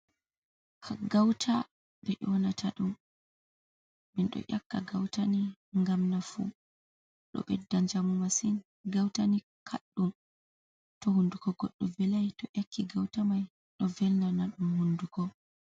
"Gauta" ɓe nyonata ɗum min ɗo ƴakka gautani ngam nafu ɗo ɓeda njamu masin gautani kaɗɗum to hunduko goɗɗo velai to ƴakki gauta mai do velnana ɗum hunduko.